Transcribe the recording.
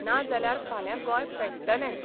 नाजाल्यार फाल्यां गोंय पेट्टलेंच.